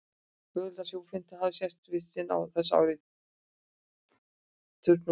Mögulegt er að sú fimmta hafi sést í fyrsta sinn á þessu ári, turnuglan.